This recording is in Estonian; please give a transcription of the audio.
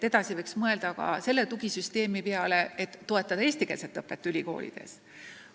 Edasi võiks mõelda ka selle tugisüsteemi peale, et toetada eestikeelset õpet ülikoolides.